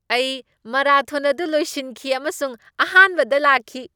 ꯑꯩ ꯃꯥꯔꯥꯊꯣꯟ ꯑꯗꯨ ꯂꯣꯏꯁꯤꯟꯈꯤ ꯑꯃꯁꯨꯡ ꯑꯍꯥꯟꯕꯗ ꯂꯥꯛꯈꯤ꯫